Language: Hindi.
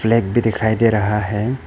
फ़्लैग भी दिखाई दे रहा है।